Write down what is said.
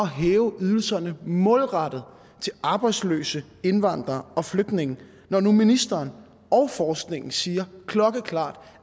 hæve ydelserne målrettet til arbejdsløse indvandrere og flygtninge når nu ministeren og forskningen siger klokkeklart